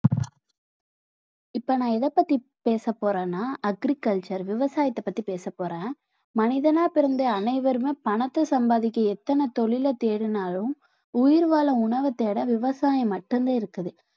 இப்ப நான் எதைப்பத்தி பேசப்போறேன்னா agriculture விவசாயத்தைப் பத்தி பேசப் போறேன் மனிதனா பிறந்த அனைவருமே பணத்தை சம்பாதிக்க எத்தனை தொழிலைத் தேடினாலும் உயிர்வாழ உணவைத் தேட விவசாயம் மட்டும்தான் இருக்குது